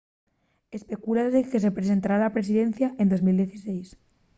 especúlase que se presentará a la presidencia en 2016